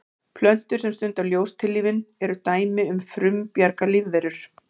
plöntur sem stunda ljóstillífun eru dæmi um frumbjarga lífverur